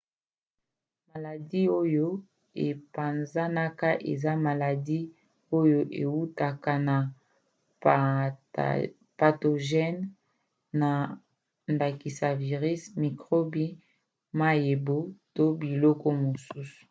maladi oyo epanzanaka eza maladi oyo eutaka na patogene na ndakisa virisi mikrobe mayebo to biloko mosusu